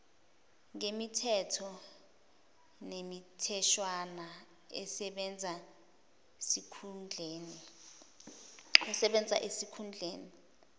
ngemithetho nemitheshwana esebenzaesikhundleni